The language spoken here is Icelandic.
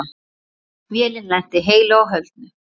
Vélin lenti heilu og höldnu.